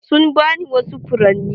Sun ba ni wasu furanni.